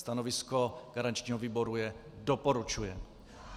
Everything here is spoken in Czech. Stanovisko garančního výboru je - doporučuje.